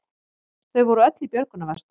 Þau voru öll í björgunarvestum